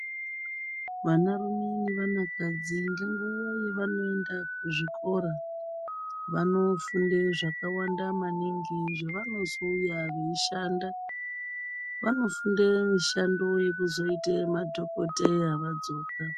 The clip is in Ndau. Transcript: Vanarume nevanakadzi ngenguva yavanoenda kuzvikora. Vanofunde zvakawanda maningi zvavanozouya veishanda. Vanofunde mishando yekuzoite madhogodheya vadzoka.